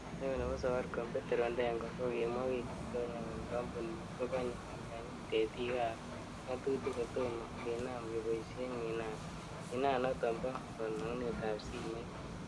Neo nebo safaricom ,Petero Ndengwa, kokimwa wikit konye kole kompunit ko konye kinyonyi tetikab ngatutik, kotomo kinaam keboishien minan noton bo kolongunetab simet.